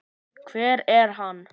Hver er hann?